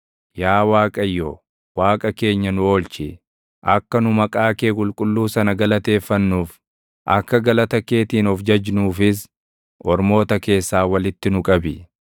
Yaa Waaqayyo, Waaqa keenya nu oolchi; akka nu maqaa kee qulqulluu sana galateeffannuuf, akka galata keetiin of jajnuufis, ormoota keessaa walitti nu qabi.